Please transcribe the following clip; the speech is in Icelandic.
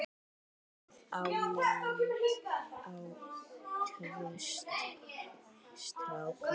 Sjálf á Linda tvo stráka.